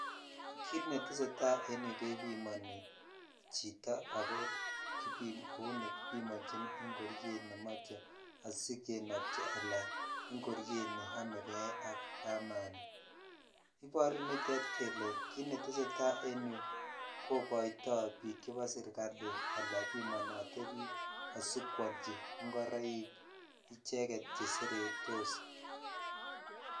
Kiit neteseta en yuu kebimoni chito ak kouu nekibimonjin ingoriet nemoche asikenobchi alan ingoriet neomekee ak kamani, iboru nitet kelee kiit neteseta en yuu kokoito biikab serikaali anan bimonote biik asikwolchi ingoroik icheket cheseretos.